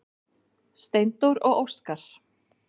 Steindór og Óskar.